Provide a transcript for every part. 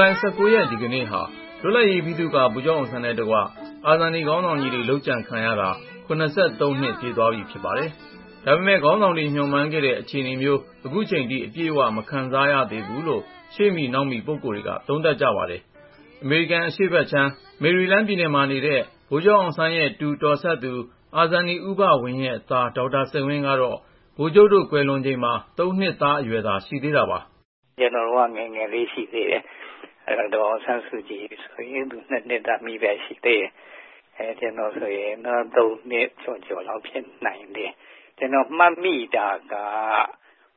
လိုင် ၁၉ ရက် ဒီကနေ့ဟာ လွတ်လပ်ရေးဗိသုကာ ဗိုလ်ချုပ်အောင်ဆန်းနဲ့တကွ အာဇာနည်ခေါင်းဆောင်တွေ လုပ်ကြံခံရတာ ၇၃ နှစ် ပြည့်သွားပြီ ဖြစ်ပါတယ်။ ဒါပေမယ့် ခေါင်းဆောင်တွေ မျှော်မှန်းခဲ့တဲ့ အခြေအနေမျိုး ခုချိန်ထိ အပြည့်အဝ မခံစားရသေးဘူးလို့ ရှေ့မီနောက်မီ ပုဂ္ဂိလ်တွေက သုံးသပ်ကြပါတယ်။ အပြည့်အစုံကို ကိုဉာဏ်ဝင်းအောင်က စုစည်း တင်ဆက်ထားပါတယ်။ အမေရိကန် အရှေ့ဘက်ခြမ်း မေရီလန်းပြည်နယ်မှာနေတဲ့ ဗိုလ်ချုပ်အောင်ဆန်းရဲ့ တူတော်စပ်သူ အာဇာနည် ဦးဘဝင်းရဲ့သား ဒေါက်တာစိန်ဝင်းကတော့ ဗိုလ်ချုပ်တို့ ကွယ်လွန်ချိန်မှာ ၃ နှစ်သားအရွယ်သာ ရှိသေးတာပါ။ "ကျနော်တို့က ငယ်ငယ်လေး ရှိသေးတယ်။ ဒေါ်အောင်ဆန်းစုကြည်ဆိုရင် သူ ၂ နှစ်သမီးပဲ ရှိသေးတယ်။ ကျနော်ဆိုရင် ၃ နှစ်သား ကျော်ကျော်လောက် ဖြစ်နိုင်တယ်။ ကျနော်မှတ်မိတာက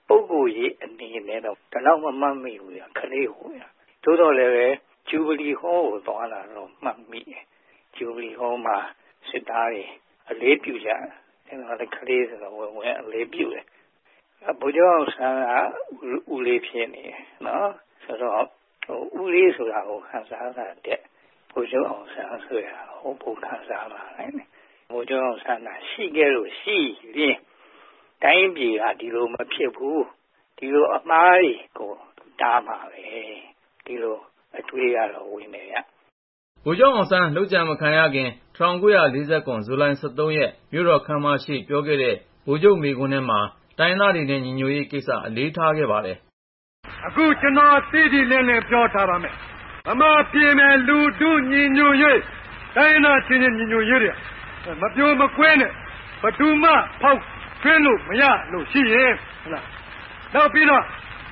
ပုဂ္ဂိုလ်ရေးအနေနဲ့တော့ ဒီလောက် မမှတ်မိဘူး၊ ကလေးကိုးဗျ။ သို့သော်လည်းပဲ ဂျူဗလီဟောကို သွားတာတော့ မှတ်မိတယ်။ ဂျူဗလီဟောမှာ စစ်သားတွေ အလေးပြုကြတယ်။ ကျနော်ကလည်း ကလေးဆိုတော့ ဝင်ပြီး အလေးပြုတယ်။ ဗိုလ်ချုပ်အောင်ဆန်းက ဦးလေးဖြစ်နေတယ် နော်၊ ဦးလေးဆိုတာကို ခံစားတာထက် ဗိုလ်ချုပ်အောင်ဆန်း ဆိုတဲ့ဟာကို ပိုခံစားလာတယ်။ ဗိုလ်ချုပ်အောင်ဆန်းသာ ရှိခဲ့လို့ရှိရင် တိုင်းပြည်က ဒီလိုမဖြစ်ဘူး၊ ဒီလိုအမှားတွေကို တားမှာပဲဆိုတဲ့ အတွေးကတော့ ဝင်တယ်ဗျ။" ဗိုလ်ချုပ်အောင်ဆန်းတို့ လုပ်ကြံမခံရခင် ၁၉၄၇ ဇူလိုင် ၁၃ ရက် မြို့တော်ခန်းမရှေ့ ပြောခဲ့တဲ့ ဗိုလ်ချုပ်ရဲ့ မိန့်ခွန်းထဲမှာ တိုင်းရင်းသားတွေနဲ့ ညီညွတ်ရေးကိစ္စ အလေးထားခဲ့ပါတယ်။ "အခု ကျနော် တိတိလင်းလင်း ပြောထားပါမယ်။ ဗမာပြည်မယ် လူထုညီညွတ်ရေး တိုင်းရင်းသားအချင်းချင်း ညီညွတ်ရေးတွေဟာ မပြိုမကွဲနဲ့ ဘယ်သူမှ ဖောက်ထွင်းလို့ မရလို့ရှိရင်.. ဟတ်လား.. နောက်ပြီးတော့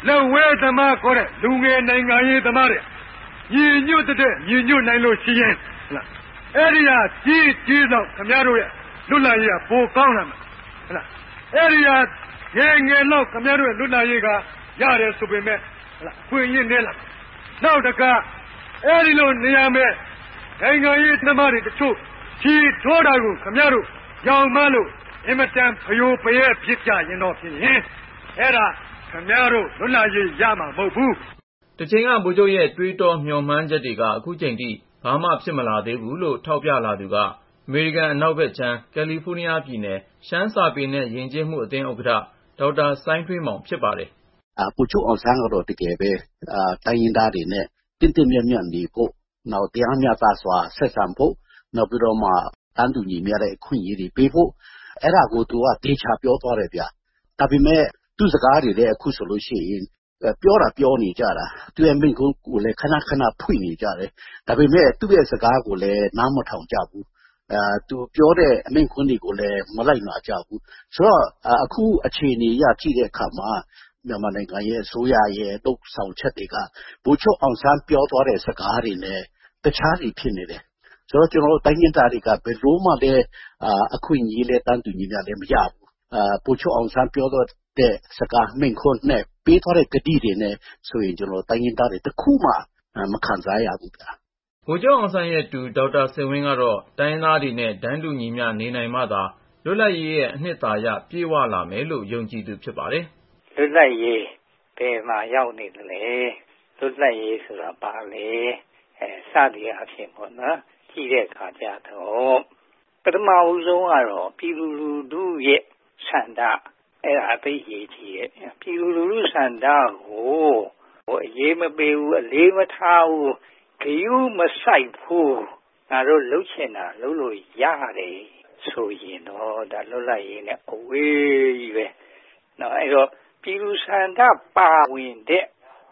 လက်ဝဲသမားခေါ်တဲ့ လူငယ်နိုင်ငံရေးသမားတွေ ညီညွတ်သထက် ညီညွတ်နိုင်လို့ရှိရင်.. ဟတ်လား.. အဲဒီဟာ ကြီးရင်ကြီးသလောက် ခင်ဗျားတို့ရဲ့ လွတ်လပ်ရေးဟာ ပိုကောင်းလာမယ်။ အဲဒီဟာ ငယ်ရင်ငယ်သလောက် ခင်ဗျားတို့ရဲ့ လွတ်လပ်ရေး ရတယ်ဆိုပေမယ့် ဟတ်လား အခွင့်အရေး နည်းလာမယ်။ နောက်တခါ အဲဒီလိုနေရာမယ် နိုင်ငံရေးသမားတွေတချို့ ခြေထိုးတာကို ခင်ဗျားတို့ ယောင်မှားလို့ အင်မတန် ဖရိုဖရဲ ဖြစ်ကြရင်တော့ဖြစ်ရင် အဲဒါ ခင်ဗျားတို့ လွတ်လပ်ရေးရမှာ မဟုတ်ဘူး။" တချိန်က ဗိုလ်ချုပ်ရဲ့ တွေးတော မျှော်မှန်းမှုတွေက ခုချိန်ထိ ဘာမှ ဖြစ်မလာသေးဘူးလို့ ထောက်ပြ ပြောလာသူက အမေရိကန် အနောက်ဘက်ခြမ်း ကယ်လီဖိုးနီးယားပြည်နယ် ရှမ်းစာပေနဲ့ ယဉ်ကျေးမှုအသင်း ဥက္ကဋ္ဌ ဒေါက်တာ စိုင်းထွေးမောင် ဖြစ်ပါတယ်။ "ဗိုလ်ချုပ်အောင်ဆန်းကတော့ တကယ်ပဲ တိုင်းရင်းသားတွေနဲ့ သင့်သင့်မြတ်မြတ်နေဖို့၊ နောက် တရားမျှတစွာ ဆက်ဆံဖို့၊ နောက်ပြီးတော့ တန်းတူညီမျှတဲ့ အခွင့်အရေးတွေ ပေးဖို့ အဲဒါကို သူက သေချာပြောသွားတယ်ဗျ။ ဒါပေမယ့် သူ့စကားတွေလည်း အခုဆိုလို့ရှိရင် ပြောသာပြောနေကြတာ၊ သူ့ရဲ့မိန့်ခွန်းကိုလည်း ခနခနသာ ဖွင့်နေကြတယ်။ ဒါပေမယ့် သူ့စကားကိုတော့ နားမထောင်ကြဘူး၊ သူပြောတဲ့ မိန့်ခွန်းကိုလည်း မလိုက်နာကြဘူး။ ဆိုတော့ အခု အခြေအနေအရ ကြည့်တဲ့အခါမှာ မြန်မာနိုင်ငံအစိုးရရဲ့ လုပ်ဆောင်ချက်တွေက ဗိုလ်ချုပ်အောင်ဆန်း ပြောသွားတဲ့စကားတွေနဲ့ တခြားစီဖြစ်နေတယ်။ ဆိုတော့ ကျနော်တို့ တိုင်းရင်းသားတွေက ဘယ်လိုမှ အခွင့်အရေး တန်းတူညီမျှ မရဘူး။ ဗိုလ်ချုပ်အောင်ဆန်း ပြောသွားတဲ့စကား၊ မိန့်ခွန်းနဲ့ ပေးသွားတဲ့ ကတိတွေအရဆိုရင် ကျနော်တို့ တိုင်းရင်းသားတွေ တခုမှ မခံစားရဘူးဗျာ။" ဗိုလ်ချုပ်အောင်ဆန်းရဲ့တူ ဒေါက်တာစိန်ဝင်းကတော့ တိုင်းရင်းသားတွေနဲ့ တန်းတူညီမျှ နေနိုင်မှသာ လွတ်လပ်ရေးရဲ့ အနှစ်သာရ ပြည့်ဝလာမယ်လို့ ယုံကြည်သူ ဖြစ်ပါတယ်။ "လွတ်လပ်ရေး ဘယ်မှာရောက်နေသလဲ၊ လွတ်လပ်ရေးဆိုတာ ဘာလဲ စသည်အားဖြင့် ကြည့်တဲ့အခါကျတော့ ပထမဦးဆုံးကတော့ ပြည်သူလူထုရဲ့ဆန္ဒ အဲဒါ သိပ်အရေးကြီးတယ်။ ပြည်သူလူထုဆန္ဒကို အရေးမပေးဘူး၊ အလေးမထားဘူး၊ ဂရုမစိုက်ဘူး၊ ငါတို့လုပ်ချင်တာ လုပ်လို့ရတယ်ဆိုရင်တော့ ဒါ လွတ်လပ်ရေးနဲ့ အဝေးကြီးပဲ။ အဲဒီတော့ ပြည်သူ့ဆန္ဒပါဝင်တဲ့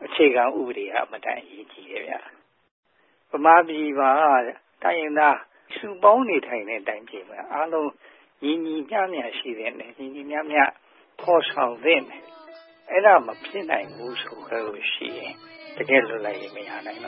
အခြေခံဥပဒေက အင်မတန် အရေးကြီးတယ်ဗျ။ ဗမာပြည်မှာက တိုင်းရင်းသားနဲ့ စုပေါင်းနေထိုင်တဲ့ တိုင်းပြည်မှာ အားလုံး ညီညီမျှမျှ ရှိသင့်တယ်။ ညီညီမျှမျှ ဖော်ဆောင်သင့်တယ်။ အဲဒါ မဖြစ်နိုင်ဘူးဆိုလို့ရှိရင် တကယ့်လွတ်လပ်ရေး မရနိုင်တ